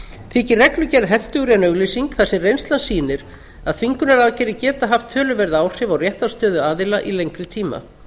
þykir reglugerð hentugri en auglýsing þar sem reynslan sýnir að þvingunaraðgerðir geta haft töluverð áhrif á réttarstöðu aðila í lengri tíma